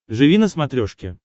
живи на смотрешке